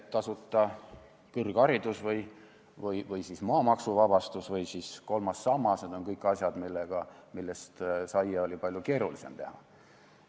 Tasuta kõrgharidus, maamaksuvabastus või kolmas sammas – need on kõik asjad, millest saia oli palju keerulisem teha.